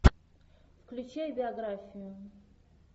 включай биографию